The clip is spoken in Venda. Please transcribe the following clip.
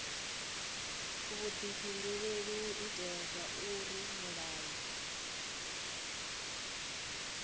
vhudifhinduleli u itela zwauri mulayo